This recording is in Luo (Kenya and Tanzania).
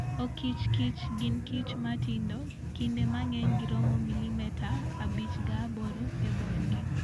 Okichmb kich gin kich ma tindo, kinde mang'eny giromo milimeta 5-8 e borgi.